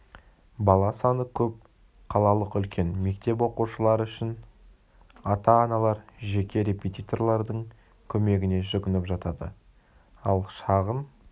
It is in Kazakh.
бала саны көп қалалық үлкен мектеп оқушылары үшін ата-аналар жеке репетиторлардың көмегіне жүгініп жатады ал шағын